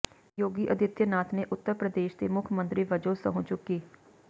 ਯੋਗੀ Adityanath ਨੇ ਉੱਤਰ ਪ੍ਰਦੇਸ਼ ਦੇ ਮੁੱਖ ਮੰਤਰੀ ਵਜੋਂ ਸਹੁੰ ਚੁੱਕੀ